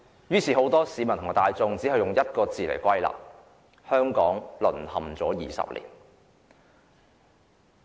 於是，很多市民用一句話作總結："香港人淪陷了20年"。